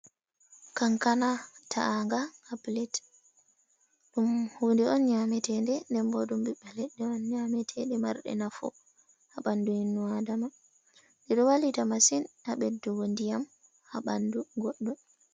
"Kankana" ta’anga ha pilet ɗum hude on nyamete de nden bo ɓiɓɓe leɗɗe on nyameteɗe marɗe nafu ha ɓandu innu adama ɗe ɗo wallita masin ha ɓeddugo ndiyam ha ɓandu goɗɗo.